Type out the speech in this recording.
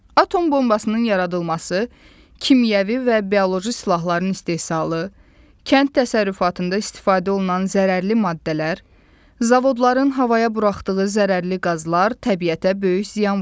Atom bombasının yaradılması, kimyəvi və bioloji silahların istehsalı, kənd təsərrüfatında istifadə olunan zərərli maddələr, zavodların havaya buraxdığı zərərli qazlar təbiətə böyük ziyan vurur.